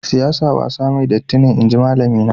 Siyasa wasa mai datti ne, inji malami na.